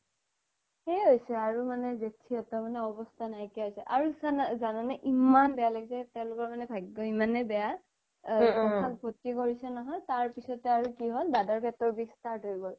সেইয়ে হৈছে আৰু মানে জেথি হ'তৰ মানে অৱ্যাস্থা নাই কিয়া হৈছে আৰু জানা নে ইমান বেয়া লগিছে তেওলোকৰ কাৰনে ভাগ্য ইমানয়ে বেয়া জেথাক ভৰতি কৰিছে নহয় তাৰ পিছ্তে আৰু কি হ্'ল দাদাৰ পেতৰ বিস start হয় গ্'ল